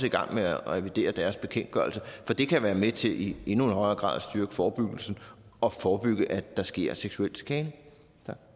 i gang med at revidere deres bekendtgørelse for det kan være med til i endnu højere grad at styrke forebyggelsen og forebygge at der sker seksuel chikane